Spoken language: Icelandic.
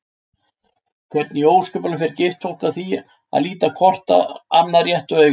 Hvernig í ósköpunum fer gift fólk að því að líta hvort annað réttu auga?